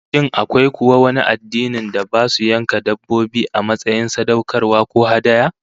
Shin akwai kuwa wani addinin da basu yanka dabbobi, a matsayin sadaukarwa ko hadaya?